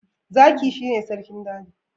Zaki shi ne sarkin a daji